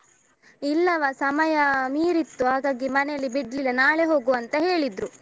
ಇಲ್ಲವ ಸಮಯ ಮೀರಿತ್ತು, ಹಾಗಾಗಿ ಮನೆಯಲ್ಲಿ ಬಿಡ್ಲಿಲ್ಲ ನಾಳೆ ಹೋಗುವ ಅಂತ ಹೇಳಿದ್ರು.